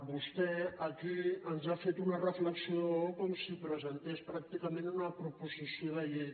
vostè aquí ens ha fet una reflexió com si presentés pràcticament una proposició de llei